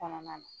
Kɔnɔna na